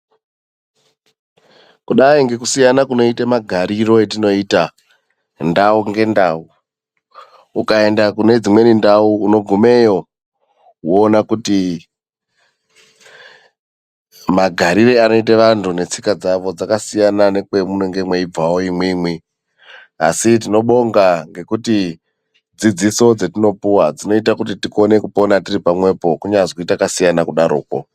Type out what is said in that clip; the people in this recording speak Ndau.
Kudai ngekusiyana kunoite magariro etinoita ndau ngendau. Ukaenda kune dzimweni ndau unogumeyo woona kuti magariro aneite vantu netsika dzavo akasiyana nekwamunenge meibvawo imwimwi. Asi tinobonga ngekuti dzidziso dzetinopiwa dzinoita tikone kupona tiri pamwepo, kunyazi akasiyana kudarokwo.